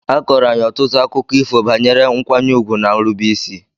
A kọọrọ anyị ọtụtụ akụkọ ifo banyere nkwanye ùgwù na nrubeisi.